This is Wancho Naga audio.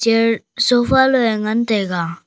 chair sofa lo ngan taiga.